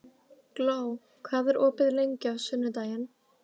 Gló, hvað er opið lengi á sunnudaginn?